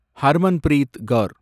Harmanpreet car